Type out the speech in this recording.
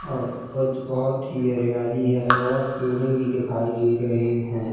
और आज बहुत ही हरियाली है और पेड़े भी दिखाई दे रहे हैं।